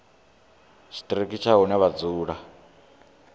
tshiṱiriki tsha hune vha dzula